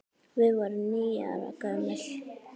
Við vorum níu ára gömul.